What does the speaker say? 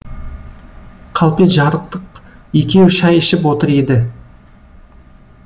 қалпе жарықтық екеуі шай ішіп отыр еді